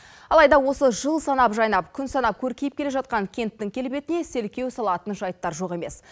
алайда осы жыл санап жайнап күн санап көркейіп келе жатқан кенттің келбетіне селкеу салатын жайттар жоқ емес